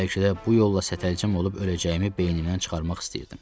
Bəlkə də bu yolla sətəlcəm olub öləcəyimi beynimdən çıxarmaq istəyirdim.